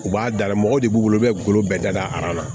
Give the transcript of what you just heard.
U b'a dala mɔgɔ de b'u bolo u bɛ golo bɛɛ da na